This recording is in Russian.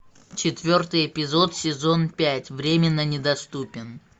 четвертый эпизод сезон пять временно недоступен